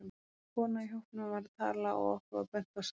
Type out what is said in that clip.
Kona í hópnum var að tala og okkur var bent á sæti.